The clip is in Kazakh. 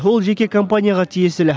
ол жеке компанияға тиесілі